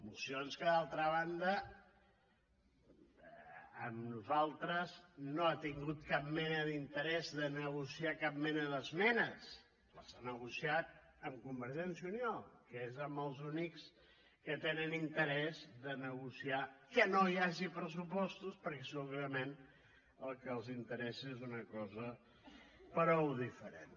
mocions en què d’altra banda amb nosaltres no ha tingut cap mena d’interès de negociar cap mena d’esmenes les ha negociat amb convergència i unió que és amb els únics que tenen interès de negociar que no hi hagi pressupostos perquè segurament el que els interessa és una cosa prou diferent